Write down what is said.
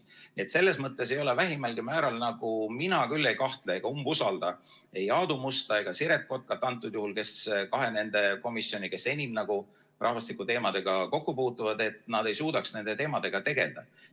Nii et selles mõttes mina vähimalgi määral küll ei umbusalda antud juhul ei Aadu Musta ega Siret Kotkat, kes juhivad neid kahte komisjoni, kes enim rahvastikuteemadega kokku puutuvad, ega kahtle, et nad suudavad nende teemadega tegeleda.